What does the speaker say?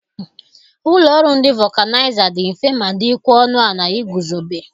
Ụlọ ọrụ ndị vọkanaịza dị mfe ma dịkwa ọnụ ala ị guzobe.